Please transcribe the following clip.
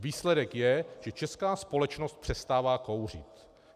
Výsledek je, že česká společnost přestává kouřit.